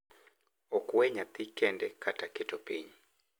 Ok we nyathi kende kata keto piny,